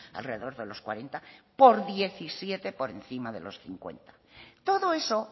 alrededor de los cuarenta por diecisiete por encima de los cincuenta todo eso